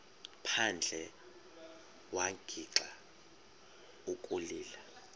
phandle wagixa ukulila